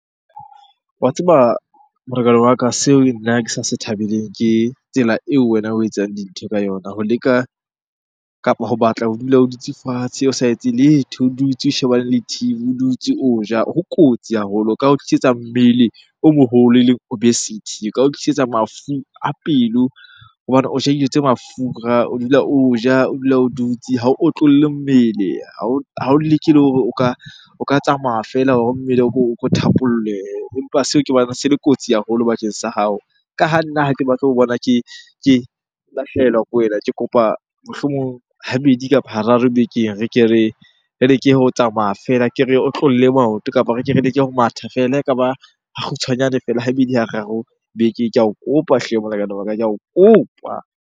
Wa tseba molekane wa ka, seo nna ke sa se thabeleng ke tsela eo wena o etsang dintho ka yona ho leka kapa ho batla ho dula o dutse fatshe o sa etse letho, o dutse o shebaneng le T_V, o dutse o ja. Ho kotsi haholo, e ka o tlisetsa mmele o moholo elleng obesity, e ka o tlisetsa mafu a pelo hobane o ja dijo tse mafura, o dula o ja, o dula o dutse ha o otlolle mmele. Ha o leke le hore o ka tsamaya feela hore mmele o ko thapollehe, empa seo ke bona se le kotsi haholo bakeng sa hao. Ka ha nna ha ke batle ho bona ke lahlehelwa ke wena. Ke kopa mohlomong habedi kapa hararo bekeng re ke re, re leke ho tsamaya feela, ke re otlolle maoto kapa re ke re leke ho matha feela. La ekaba ha kgutshwanyane feela, habedi hararo bekeng. Ke ao kopa hle molekane wa ka, ke ao kopa.